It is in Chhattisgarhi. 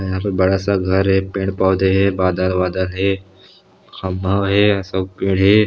हमारे बड़ा सा घर है पेड़ - पौधे हे बादल वादल हे खम्भा हे सब पेड़ हे